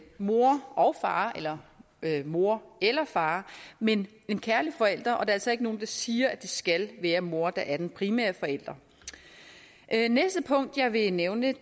mor og far eller mor eller far men kærlige forældre og der er altså ikke nogen der siger at det skal være mor der er den primære forælder næste punkt jeg vil nævne